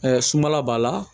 sunbala b'a la